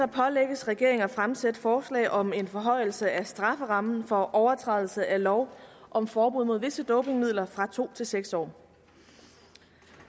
pålægges regeringen at fremsætte forslag om en forhøjelse af strafferammen for overtrædelse af lov om forbud mod visse dopingmidler fra to til seks år